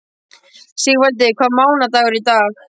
Sigvaldi, hvaða mánaðardagur er í dag?